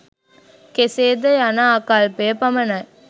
කෙසේ ද යන ආකල්පය පමණයි.